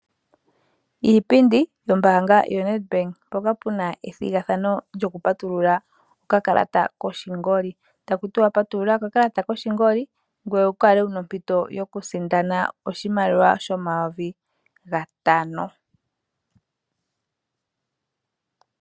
Iipindi yombaanga yoNetBank, mpoka puna ethigathano lyokupatulula okakalata koshingoli. Taku tiwa patulula okakalata koshingoli ngoye wu kale wu na ompito yokusindana oshimaliwa shomayovi gatano.